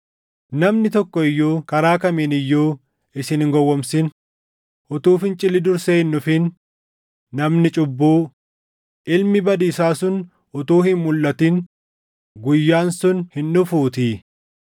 Namni tokko iyyuu karaa kamiin iyyuu isin hin gowwoomsin; utuu fincilli dursee hin dhufin, namni cubbuu, ilmi badiisaa sun utuu hin mulʼatin guyyaan sun hin dhufuutii.